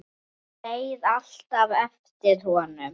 Hún beið alltaf eftir honum.